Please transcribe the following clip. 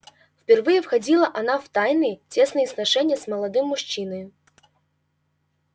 впервые входила она в тайные тесные сношения с молодым мужчиною